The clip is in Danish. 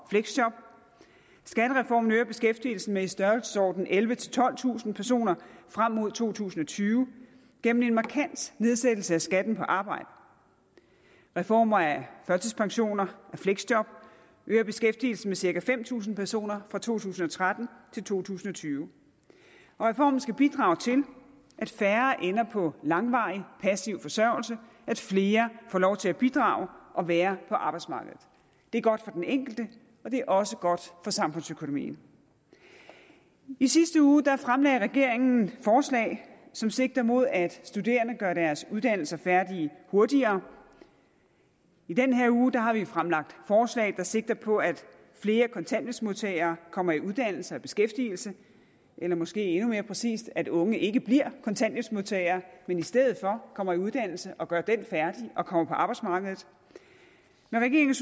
og fleksjob skattereformen øger beskæftigelsen med i størrelsesordenen ellevetusind tolvtusind personer frem mod to tusind og tyve gennem en markant nedsættelse af skatten på arbejde reformerne af førtidspension og fleksjob øger beskæftigelsen med cirka fem tusind personer fra to tusind og tretten til to tusind og tyve reformerne skal bidrage til at færre ender på langvarig passiv forsørgelse at flere får lov til at bidrage og være på arbejdsmarkedet det er godt for den enkelte og det er også godt for samfundsøkonomien i sidste uge fremlagde regeringen forslag som sigter mod at studerende gør deres uddannelser færdige hurtigere i den her uge har vi fremlagt forslag der sigter på at flere kontanthjælpsmodtagere kommer i uddannelse og beskæftigelse eller måske endnu mere præcist at unge ikke bliver kontanthjælpsmodtagere men i stedet for kommer i uddannelse og gør den færdig og kommer på arbejdsmarkedet med regeringens